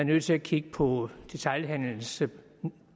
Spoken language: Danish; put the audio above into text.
nødt til at kigge på hvordan detailhandelens